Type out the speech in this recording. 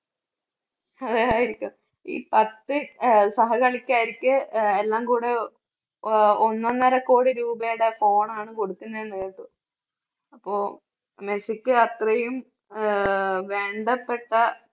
ആയിരിക്കും ഈ പത്ത് അഹ് സഹ കളിക്കാർക്ക് ആഹ് എല്ലാം കൂടെ ഒ~ഒന്നൊന്നര കോടി രൂപയുടെ phone ണ് കൊടുക്കുന്നത് എന്ന് കേട്ടു. അപ്പോ മെസ്സിക്ക് അത്രയും ആഹ് വേണ്ടപ്പെട്ട